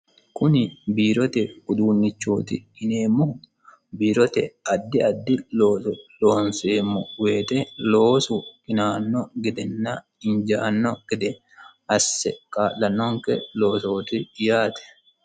Kuni biirote uduunnichooti yineemmohu addi addi looso loonseemmo woyite injaanno gede asse kaa'lanonke loosoti yaate.